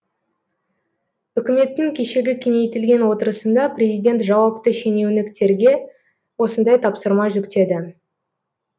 үкіметтің кешегі кеңейтілген отырысында президент жауапты шенеуніктерге осындай тапсырма жүктеді